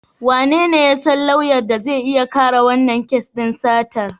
Wanene ya san lauyan da zai iya kare wannan kes din satar?